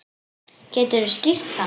Geturðu skýrt það?